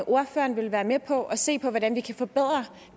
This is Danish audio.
ordføreren vil være med på at se på hvordan vi kan forbedre